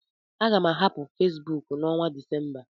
Aga m ahapụ Fesbuk n' onwa Decemba